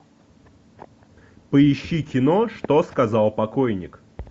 поищи кино что сказал покойник